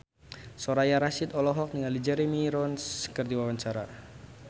Soraya Rasyid olohok ningali Jeremy Irons keur diwawancara